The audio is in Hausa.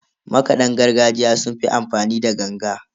Makadan gargajiya sun fi amfani ne da ganga.